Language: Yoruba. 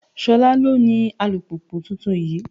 Ṣolá ló ní alùpùpù tuntun yìí.